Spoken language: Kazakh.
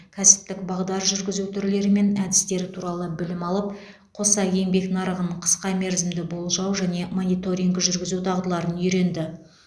кәсіптік бағдар жүргізу түрлері мен әдістері туралы білім алып қоса еңбек нарығын қысқа мерзімді болжау және мониторинг жүргізу дағдыларын үйренді